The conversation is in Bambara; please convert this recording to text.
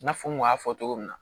I n'a fɔ n kun y'a fɔ cogo min na